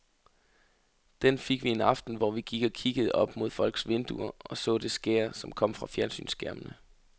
Den fik vi en aften, hvor vi gik og kiggede op mod folks vinduer og så det skær, som kom fra fjernsynsskærmene.